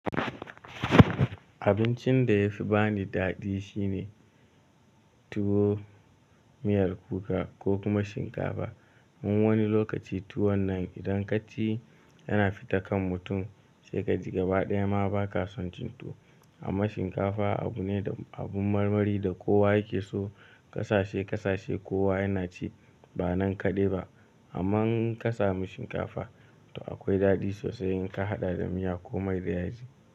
Abincin da ya fi bani daɗi shine tuwo, miyar kuka ko kuma shinkafa. Mun wani lokaci tuwon nan idan ka ci yana fita kan mutum sai ka ji gabaɗaya ma ba ka son cin tuwo. Amma shinkafa abu ne da abun marmari da kowa yake so. Kasashe kasashe kowa yana ci ba nan kaɗai ba. Amma in ka samu shinkafa, to akwai daɗi sosai in ka haɗa da miya ko mai da yaji.